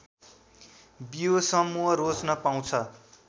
बियो समूह रोज्न पाउँछ